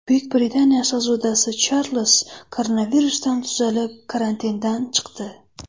Buyuk Britaniya shahzodasi Charlz koronavirusdan tuzalib, karantindan chiqdi.